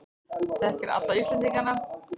Þekkir alla Íslendingana.